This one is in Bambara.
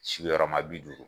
Sigiyɔrɔma bi duuru.